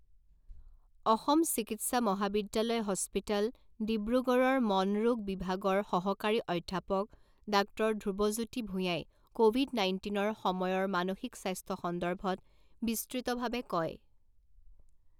অসম চিকিৎসা মহাবিদ্যালয় হস্পিতাল, ডিব্ৰুগড়ৰ মনৰোগ বিভাগৰ সহকাৰী অধ্যাপক ডাক্টৰ ধ্ৰুৱজ্যোতি ভূঞাই ক'ভিড নাইণ্টিনৰ সময়ৰ মানসিক স্বাস্থ্য সন্দৰ্ভত বিস্তৃতভাৱে কয়।